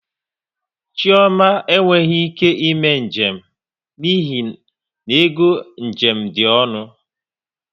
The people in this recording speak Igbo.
Chioma e nweghị ike ime njem n'ihi n'ego njem dị ọnụ